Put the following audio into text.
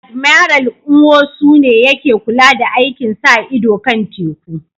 Admiral Nwosu ne yake kula da aikin sa ido kan teku